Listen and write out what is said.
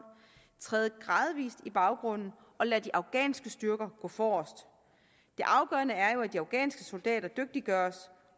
træde gradvis i baggrunden og lade de afghanske styrker gå forrest det afgørende er jo at de afghanske soldater dygtiggøres